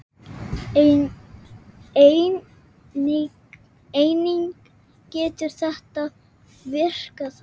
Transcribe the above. Einnig getur þetta virkað þannig